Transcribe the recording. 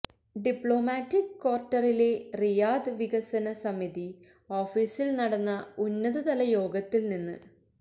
diplomatic ക്വാർട്ടറിലെ Riyadh വികസന സമിതി ഓഫീസിൽ നടന്ന ഉന്നതതല യോഗത്തിൽനിന്ന്